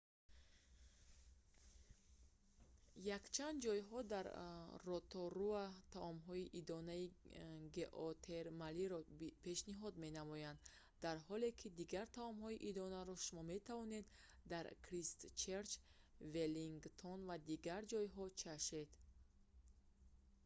якчанд ҷойҳо дар роторуа таомҳои идонаи геотермалиро пешниҳод менамоянд дар ҳоле ки дигар таомҳои идонаро шумо метавонед дар кристчерч веллингтон ва дигар ҷойҳо чашед